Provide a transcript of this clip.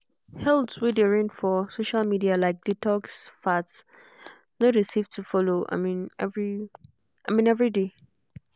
health way dey reign for social media like detox fads no dey safe to follow i mean every i mean every day.